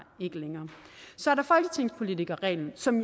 ikke længere så er der folketingspolitikerreglen som